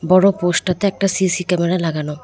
বড় পোস্ট -টাতে একটা সি_সি ক্যামেরা লাগানো।